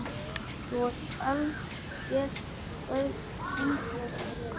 Þú ert algert öngvit!